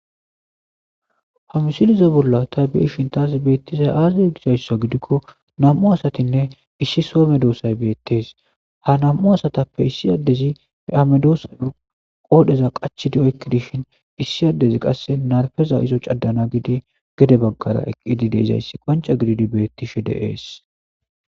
hamusilizo bolla tabi7i shintas beettizay aazdie gizayssa gidikko nam7u asatinne issi soome doosay beettes ha nam7u asatappe issi addezi e-amedoossa qoodheza qachidi oykki dishin issi addezi qasse narfeza izo caddana gidi gede baggara eqqidi deezayssi qoanca gididi bettishe deees